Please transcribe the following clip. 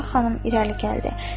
Sabah xanım irəli gəldi.